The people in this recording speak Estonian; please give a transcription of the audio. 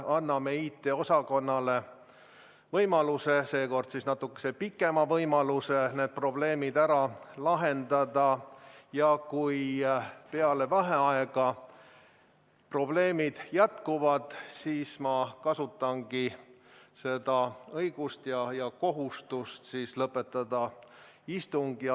Anname IT-osakonnale võimaluse – seekord siis natuke pikema võimaluse – need probleemid ära lahendada ja kui peale vaheaega probleemid jätkuvad, siis ma kasutangi seda õigust ja kohustust lõpetada istung.